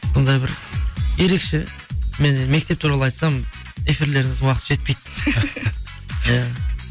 сондай бір ерекше мен енді мектеп туралы айтсам эфирлеріңіздің уақыты жетпейді иә